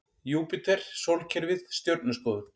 Júpíter Sólkerfið Stjörnuskoðun.